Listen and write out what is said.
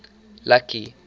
lucky